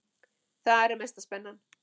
Þar er mesta spennan.